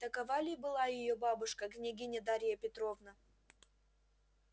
такова ли была её бабушка княгиня дарья петровна